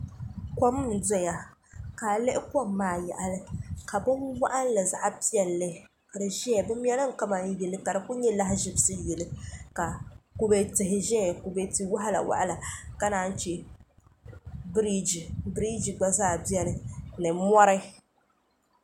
kom n doya ka a lihi kom maa yaɣali ka bin waɣanli zaɣ piɛlli ka di ʒɛya bi mɛlimi kamani yili ka di ku nyɛ lahaʒibisi yilu ka kubɛ tihi ʒɛya kubɛ tia waɣala waɣala ka naan chɛ biriji gba zaa biɛni ni mori